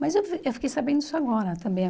Mas eu eu fiquei sabendo isso agora também.